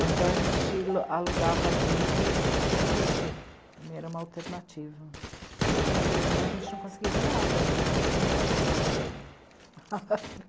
Ou então a gente alugava vídeo e assistia vídeo, também era uma alternativa, porque na televisão a gente não conseguia ver nada, tudo muçulmano falando.